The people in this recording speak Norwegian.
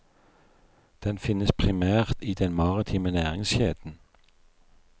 Den finnes primært i den maritime næringskjeden.